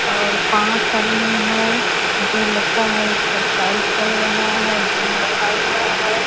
और पाच आदमी हैं जो लगता है एक्सरसाइज कर रहा है भीम रखा हुआ है।